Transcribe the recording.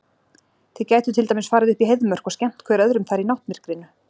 Þið gætuð til dæmis farið upp í Heiðmörk og skemmt hver öðrum þar í náttmyrkrinu.